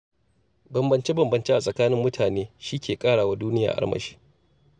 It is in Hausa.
Bambance-bambance a tsakanin mutane shi ke ƙara wa duniya armashi.